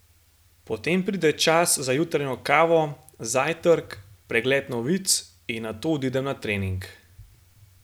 Potem pride čas za jutranjo kavo, zajtrk, pregled novic in nato odidem na trening.